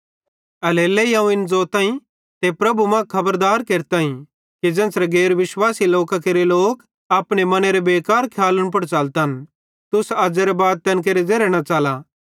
एल्हेरेलेइ अवं इन ज़ोताईं ते प्रभु मां खबरदार केरताईं कि ज़ेन्च़रे गैर विश्वासी लोकां केरे लोक अपने मनेरे बेकार खियालन पुड़ च़लतन तुस अज़ेरे बाद तैन केरे ज़ेरे न च़ला